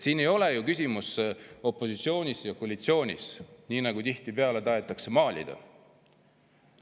Siin ei ole ju küsimus opositsioonis või koalitsioonis, nagu tihtipeale tahetakse maalida.